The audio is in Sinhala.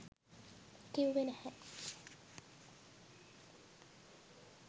කිව්වේ නැහැ.